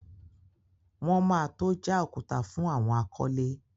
Wọn ma tó já òkúta fún àwọn akọ́lé.